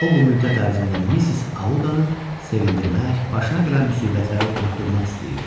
O bu müddət ərzində Missis Audanı sevindirmək, başına gələn müsibətləri unutdurmaq istəyirdi.